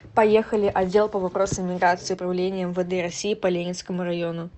поехали отдел по вопросам миграции управление мвд россии по ленинскому району